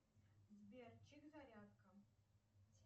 сбер чек зарядка